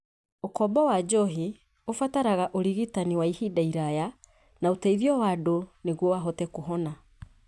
Ũkombo wa njohi ũbataraga ũrigitani wa ihinda iraya na ũteithio wa andũ nĩguo ahote kũhona.